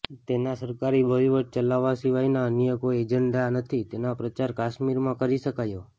તેના સરકારી વહીવટ ચલાવવા સિવાયના અન્ય કોઈ એજન્ડા નથી તેનો પ્રચાર કાશ્મીરમાં કરી શકાયો